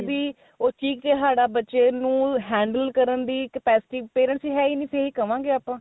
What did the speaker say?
ਦੀ ਉਹ ਚੀਕ ਚਿਹਾੜਾ ਬੱਚੇ ਨੂੰ handle ਕਰਨ ਦੀ capacity parents ਦੀ ਹੈ ਹੀ ਨਹੀਂ ਇਹੀ ਕਵਾਗੇ ਆਪਾਂ